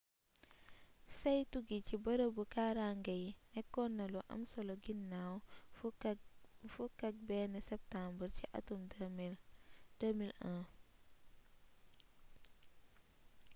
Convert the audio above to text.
saytu gi ci bërëbu kaarange yi nékkon na lu am solo ginnaw 11 seetumbeer ci atum 2001